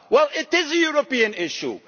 Well, it is a European issue.